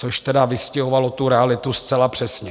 Což tedy vystihovalo tu realitu zcela přesně.